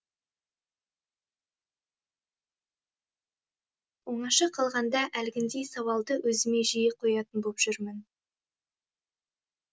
оңаша қалғанда әлгіндей сауалды өзіме жиі қоятын боп жүрмін